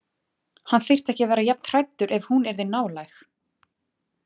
Hann þyrfti ekki að vera jafn hræddur ef hún yrði nálæg.